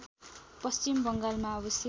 पश्चिम बङ्गालमा अवस्थित